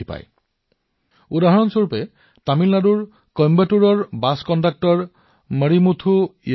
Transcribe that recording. যেনে মাৰিমুথু যোগনাথন জী যি তামিলনাডুৰ কইম্বাটুৰত বাছ কণ্ডাক্টৰ হিচাপে কাম কৰে